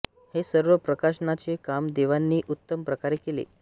हे सर्व प्रकाशनाचे काम देवांनी उत्तम प्रकारे केले